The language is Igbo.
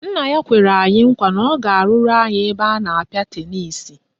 Nna ya kwere anyị nkwa na ọ ga-arụrụ anyị ebe a na-apịa tenisi